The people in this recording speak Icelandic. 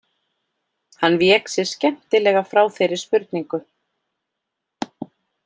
Hann vék sér skemmtilega frá þeirri spurningu.